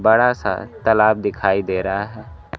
बड़ा सा तालाब दिखाई दे रहा है।